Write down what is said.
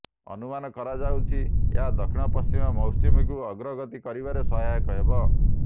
ଅନୁମାନ କରାଯାଉଛି ଏହା ଦକ୍ଷିଣ ପଶ୍ଚିମ ମୌସୁମୀକୁ ଅଗ୍ରଗତି କରିବାରେ ସହାୟକ ହେବ